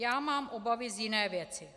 Já mám obavy z jiné věci.